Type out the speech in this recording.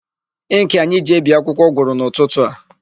Ịnkị anyị ji ebi akwụkwọ gwụrụ n'ụtụtụ a.